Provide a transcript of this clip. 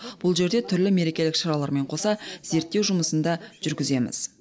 бұл жерде түрлі мерекелік шаралармен қоса зерттеу жұмысын да жүргіземіз